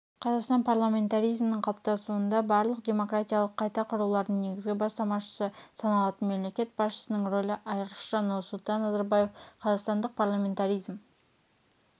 қазақстан парламентаризмінің қалыптасуында барлық демократиялық қайта құрулардың негізгі бастамашысы саналатын мемлекет басшысының рөлі айрықша нұрсұлтан назарбаев қазақстандық парламентаризм